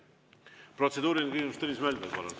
Protseduuriline küsimus, Tõnis Mölder, palun!